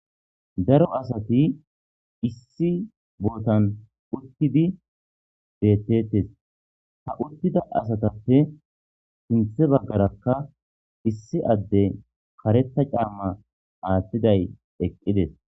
Daro asati issi bootan uttidi bettetes ha uttida asatappe sinthe baggarakka issi adde kareta caamma aathtiday eqqides.